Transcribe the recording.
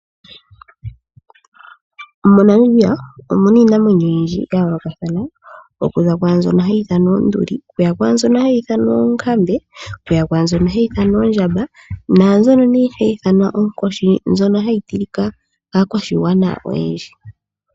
MoNamibia omuna iinamwenyo oyindji ya yoolokathana ,okuza kwaambyono hayi ithanwa oonduli ,okuya kwaambyono hayi ithanwa oonkambe, okuya kwaambyono hayi ithanwa oondjamba, naambyono nee hayi ithanwa oonkoshi mbyono hayi tilika kaantu oyendji.